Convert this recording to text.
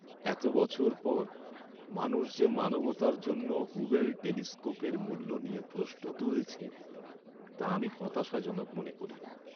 এত বছর পর, মানুষ যে মানবতার জন্য হুবেল টেলিস্কোপের মূল্য নিয়ে প্রশ্ন তুলেছে, তা আমি হতাশাজনক মনে করি।